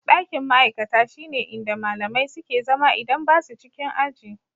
Ɗakin ma'aikata shine inda malamai suke zama idan ba su cikin aji.